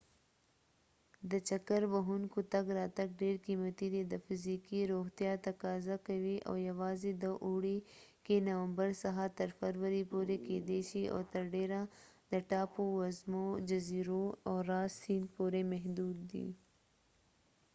د چکر وهونکو تګ راتګ ډیر قیمتي دی، د فزیکي روغتیا تقاضا کوي او یواځې د اوړي کې نومبر څخه تر فرورۍ پورې کیدای شي او تر ډیره د ټاپو وزمو، جزیرو او راس سیند پورې محدود دي